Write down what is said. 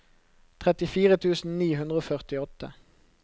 trettifire tusen ni hundre og førtiåtte